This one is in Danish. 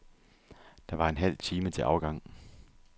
Der var en halv time til afgang.